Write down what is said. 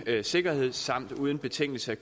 sikkerhed samt uden betingelse